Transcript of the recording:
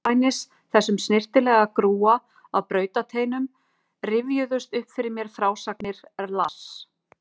Andspænis þessum snyrtilega grúa af bautasteinum rifjuðust upp fyrir mér frásagnir Lars